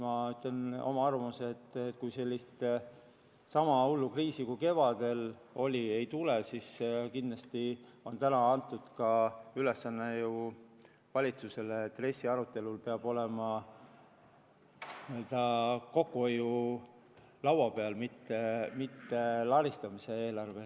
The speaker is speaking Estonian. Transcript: Ma ütlen oma arvamuse, et kui sama hullu kriisi kui kevadel oli, ei tule, siis kindlasti on antud valitsusele ülesanne, et RES-i arutelul peab kokku hoidma, mitte laristama.